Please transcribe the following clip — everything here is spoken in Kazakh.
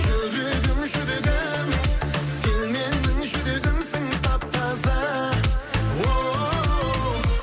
жүрегім жүрегім сен менің жүрегімсің тап таза оу